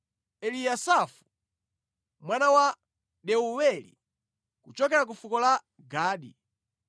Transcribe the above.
Eliyasafu mwana wa Deuweli, kuchokera ku fuko la Gadi,